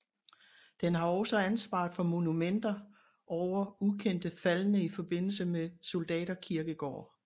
Den har også ansvaret for monumenter over ukendte faldne i forbindelse med soldaterkirkegårde